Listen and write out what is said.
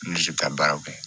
Lili bɛ taa baaraw kɛ